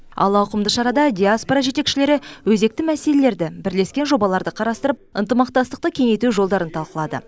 ал ауқымды шарада диаспора жетекшілері өзекті мәселелерді бірлескен жобаларды қарастырып ынтымақтастықты кеңейту жолдарын талқылады